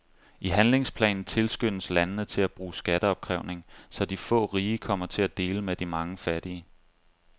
I handlingsplanen tilskyndes landene til at bruge skatteopkrævning, så de få rige kommer til at dele med de mange fattige.